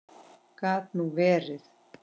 Gat nú verið.